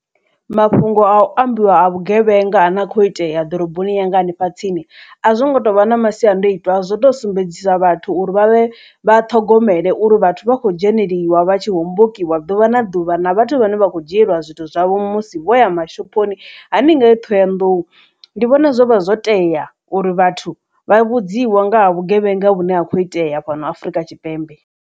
Mafhungo a u ambiwa a vhugevhenga a ne a khou itea ḓoroboni yanga hanefha tsini a zwo ngo tou vha na masiandaitwaazwo to sumbedzisa vhathu uri vha vhe vha ṱhogomele uri vhathu vha kho dzheneliwa vha tshi hombokiwa ḓuvha na ḓuvha na vhathu vhane vha kho dzhieliwa zwithu zwavho musi vho ya mashophoni hani ngei ṱhohoyanḓou ndi vhona zwo vha zwo tea uri vhathu vha vhudziwe nga ha vhugevhenga vhune ha kho iteya fhano Afrika Tshipembe.